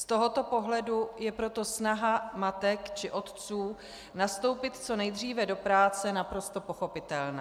Z tohoto pohledu je proto snaha matek či otců nastoupit co nejdříve do práce naprosto pochopitelná.